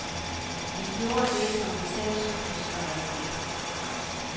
Vi gjorde det, som vi selv syntes var rigtigt.